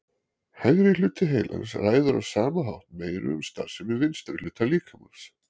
Hægri hluti heilans ræður á sama hátt meiru um starfsemi vinstra hlutar líkamans.